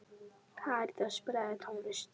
Karítas, spilaðu tónlist.